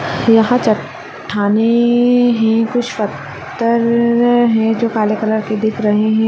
यहाँ चट्टाने है कुछ पत्थर है जो काले कलर के दिख रहे है।